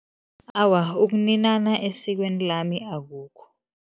Awa, ukuninana esikweni lami akukho.